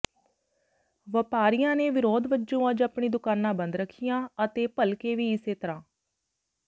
ਵਪਾਰੀਆਂ ਨੇ ਵਿਰੋਧ ਵਜੋਂ ਅੱਜ ਆਪਣੀ ਦੁਕਾਨਾਂ ਬੰਦ ਰੱਖੀਆਂ ਅਤੇ ਭਲਕੇ ਵੀ ਇਸੇ ਤਰ੍ਹਾਂ